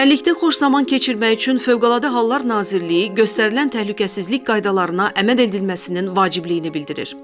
Çimərlikdə xoş zaman keçirmək üçün Fövqəladə Hallar Nazirliyi göstərilən təhlükəsizlik qaydalarına əməl edilməsinin vacibliyini bildirir.